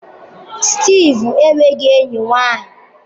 Steve enweghị enyi nwanyị.